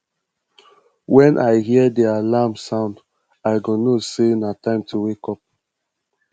wen i hear di alarm sound i go know sey na time to wake